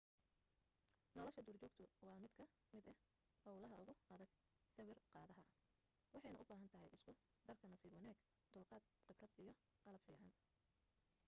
nolosha duurjoogtu waa mid ka mid ah hawlaha ugu adag sawir qaadaha waxayna u baahantay isku darka nasiib wanaag dulqaad khibrad iyo qalab fiican